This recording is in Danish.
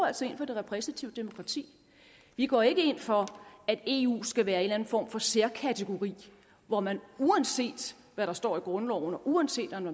altså ind for det repræsentative demokrati vi går ikke ind for at eu skal være en eller anden form for særkategori hvor man uanset hvad der står i grundloven og uanset om